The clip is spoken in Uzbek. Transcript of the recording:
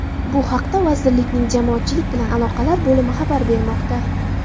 Bu haqda vazirlikning Jamoatchilik bilan aloqalar bo‘limi xabar bermoqda.